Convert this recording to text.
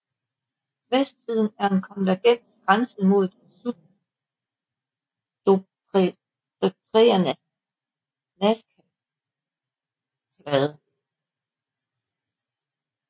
Vestsiden er en konvergent grænse med den subdukterende nazcaplade